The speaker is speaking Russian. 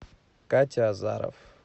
катя азаров